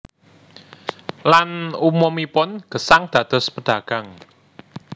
Lan umumipun gesang dados pedagang